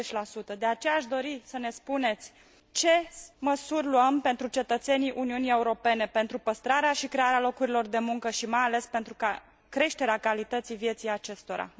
20 De aceea, aș dori să ne spuneți ce măsuri luăm pentru cetățenii Uniunii Europene, pentru păstrarea și crearea locurilor de muncă și mai ales pentru creșterea calității vieții acestora?